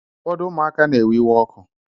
Ụfọdụ ụmụaka na-ewe iwe ọkụ